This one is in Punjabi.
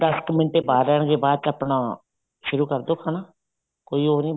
ਦਸ ਕ ਮਿੰਟ ਏ ਬਾਅਦ ਆਪਣਾ ਸ਼ੁਰੂ ਕਰਦੋ ਖਾਣਾ ਕੋਈ ਉ ਨਹੀਂ